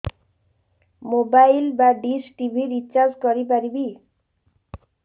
mobile ବା dish TV recharge କରି ପାରିବି